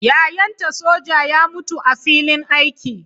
Yayanta soja ya mutu a filin yaƙi.